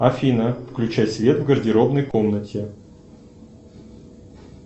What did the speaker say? афина включай свет в гардеробной комнате